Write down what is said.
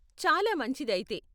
చాలా మంచిది అయితే!